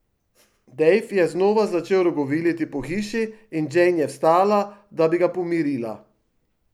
Dave je znova začel rogoviliti po hiši in Jane je vstala, da bi ga pomirila.